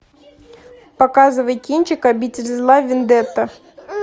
показывай кинчик обитель зла вендетта